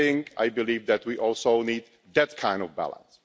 I believe that we also need that kind of balance.